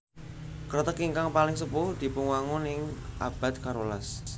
Kreteg ingkang paling sepuh dipunwangun ing abad karolas